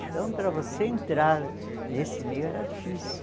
Então, para você entrar nesse meio era difícil.